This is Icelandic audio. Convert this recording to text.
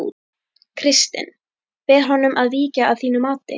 Kristinn: Ber honum að víkja að þínu mati?